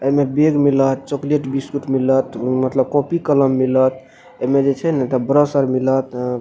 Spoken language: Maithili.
एमे बैग मिलत चॉकलेट - बिस्कुट मिलत उम्म मतलब कॉपी - कलम मिलत एमे जे छै ने ब्रश आर मिलत ए --